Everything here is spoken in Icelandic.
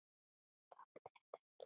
Þoldi þetta ekki!